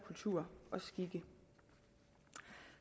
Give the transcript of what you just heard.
kultur og skikke